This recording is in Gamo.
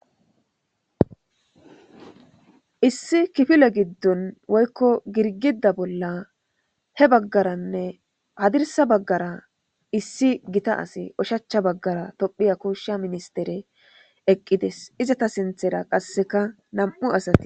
Issi kifile giddon woykko girgida bolla he baggaranne hadirsa baggara issi gita asi oshachcha baggara tophiya kuushsha ministere eqqides izata sinthera qasseka nam'u asati.